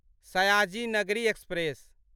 Sayaji Nagari express